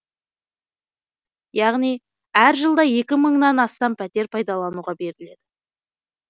яғни әр жылда екі мыңнан астам пәтер пайдалануға беріледі